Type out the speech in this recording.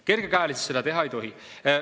Kergekäeliselt seda teha ei tohi.